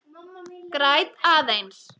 Græt aðeins.